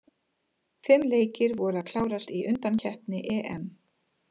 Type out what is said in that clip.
Fimm leikir voru að klárast í undankeppni EM.